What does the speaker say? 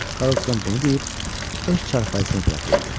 Karlson bunu deyib öz çarpayısına tərəf yeridi.